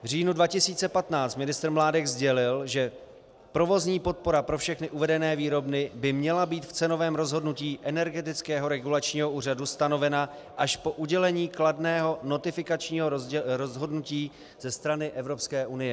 V říjnu 2015 ministr Mládek sdělil, že provozní podpora pro všechny uvedené výrobny by měla být v cenovém rozhodnutí Energetického regulačního úřadu stanovena až po udělení kladného notifikačního rozhodnutí ze strany Evropské unie.